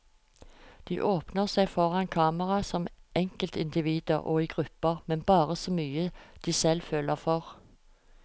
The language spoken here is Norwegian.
De åpner seg foran kamera som enkeltindivider og i grupper, men bare så mye de selv føler for.